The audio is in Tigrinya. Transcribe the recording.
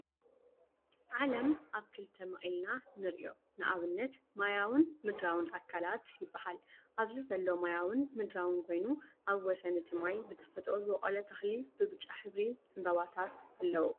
ዓለም ኣብ ክልተ መቂልናንርኦ ንኣብነት ማያዊ ን ምድራዊን ኣካላት ይበሃል። ኣብዚ ዘሎ ማያዊን ምድራውን ኮይኑ ኣብ ወሰን እቲ ማይ ብተፈጥሮ ዝበቆለ ተኽሊ ብብጫ ሕብሪ ዕንበባታት ኣለው።